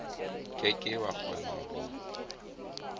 ke ke wa kgona ho